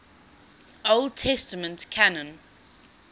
old testament canon